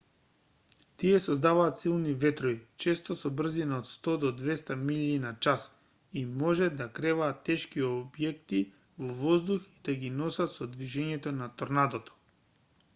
тие создаваат силни ветрови често со брзина од 100-200 милји/час и може да креваат тешки објекти во воздух и да ги носат со движењето на торнадото